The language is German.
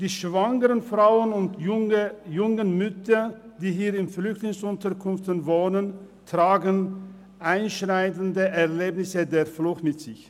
Die schwangeren Frauen und jungen Mütter, die hier in Flüchtlingsunterkünften wohnen, tragen einschneidende Erlebnisse der Flucht mit sich.